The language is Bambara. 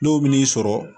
Dɔw bɛ n'i sɔrɔ